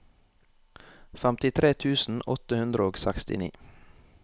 femtitre tusen åtte hundre og sekstini